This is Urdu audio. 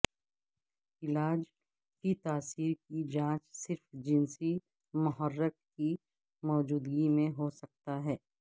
علاج کی تاثیر کی جانچ صرف جنسی محرک کی موجودگی میں ہو سکتا ہے